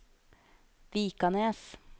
Vikanes